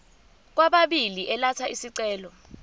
kwababili elatha isicelo